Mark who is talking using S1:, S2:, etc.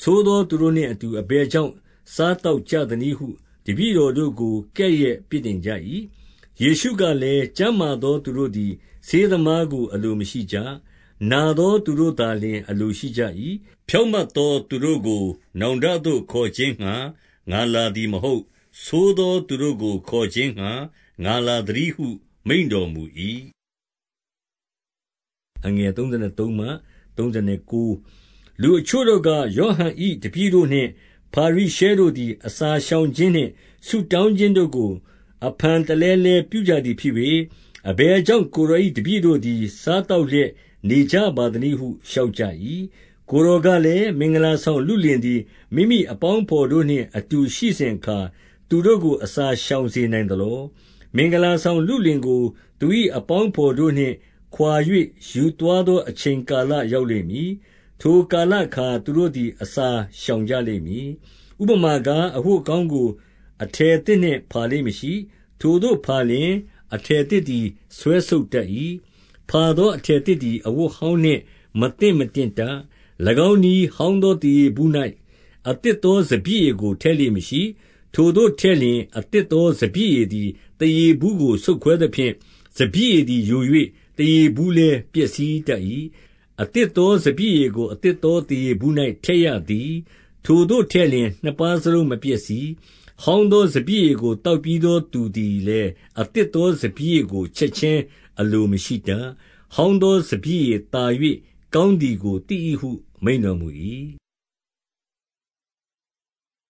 S1: ဆိုးသောသူတို့နှင့်အတူ အဘယ်ကြောင့် စားသောက်ကြသနည်းဟု တပည့်တော် တို့ကိုကဲ့ရဲ့အပြစ်တင်ကြ၏။ ယေရှုကလည်း၊ ကျန်းမာသောသူတို့သည် ဆေးသမားကိုအလိုမရှိကြ။ နာသောသူတို့သာလျှင် အလိုရှိ ကြ၏။ ဖြောင့်မတ်သောသူတို့သည် နောင်တသို့ ခေါ်ခြင်းငှါလာသည်မဟုတ် ဆိုးသောသူတို့ကိုခေါ်ခြင်းငှါ ငါလာသတည်းဟု မိန့်တော်မူ၏။ လူအချို့တို့က၊ ယောဟန်၏ တပည့်တို့နှင့် ဖာရိရှဲတို့သည် အစာရှောင်ခြင်းနှင့် ဆုတောင်းခြင်းတို့ကို အဖန်တလဲလဲပြုကြသည်ဖြစ်၍၊ အဘယ်ကြောင့် ကိုယ်တော်၏တပည့်တို့သည် စားသောက်လျက်နေကြ ပါသနည်းဟု လျှောက်ကြ၏။ ကိုယ်တော်ကလည်း၊ မင်္ဂလာဆောင်လုလင်သည် မိမိအပေါင်းအဘော်တို့နှင့်အတူရှိစဉ်အခါ သူတို့ကို အစာရှောင်စေနိုင်သလော။ မင်္ဂလာဆောင်လုလင်ကို သူ၏အပေါင်းအဘော်တို့နှင့်ခွါ၍ ယူသွားသောအချိန်ကာလ ရောက်လိမ့် မည်။ ထိုကာလ အခါသူတို့သည် အစာရှောင်ကြလိမ့်မည်။ ဥပမာကား၊ အဝတ်ဟောင်းကို အထည်သစ်နှင့် ဖာလေ့မရှိ။ ထိုသို့ဖာလျှင် အထည်သစ်သည် ဆွဲဆုတ် တတ်၏။ ဖာသောအထည်သစ်သည် အဝတ်ဟောင်းနှင့် မသင့်မတင့်တတ်။ ၎င်းနည်း၊ ဟောင်းသောသားရေဘူး၌ အသစ်သောစပျစ်ရည်ကို ထည့်လေ့မရှိ။ ထိုသို့ထည့်လျှင် အသစ်သောစပျစ်ရည်သည် သားရေဘူးကို ဆုတ်ခွဲသဖြင့်၊ စပျစ်ရည်သည် သားရေဘူးကို ဆုတ်ခွဲသဖြင့်၊ စပျစ်ရည်သည်ယို၍ သားရေဘူးလည်း ပျက်စီးတတ်၏။ အသစ်သောစပျစ်ရည်ကို အသစ်သောသားရေဘူး၌ ထည့်ရသည်၊ ထိုသို့ထည့်လျှင် နှစ်ပါးစလုံး မပျက် စီး။ ဟောင်းသောစပျစ်ရည်ကိုသောက်ပြီးသော သူသည်လည်း အသစ်သောစပျစ်ရည်ကို ချက်ခြင်းအလို မရှိတတ်။ ဟောင်းသော စပျစ်ရည်သာ၍ ကောင်းသည်ကိုသိ၏ဟုမိန့်တော်မူ၏။